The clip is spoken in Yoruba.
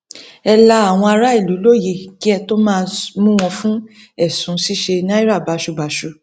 ẹ la àwọn aráàlú lóyè kí ẹ tóó máa mú wọn fún ẹsùn ṣíṣe náírà báṣubàṣu